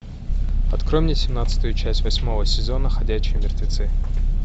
открой мне семнадцатую часть восьмого сезона ходячие мертвецы